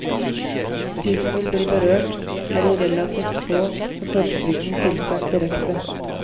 De som vil bli berørt, er de relativt få som får trygden tilsendt direkte.